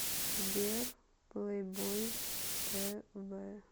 сбер плэйбойз тэ вэ